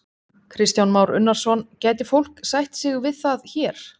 Kristján Már Unnarsson: Gæti fólk sætt sig við það hér?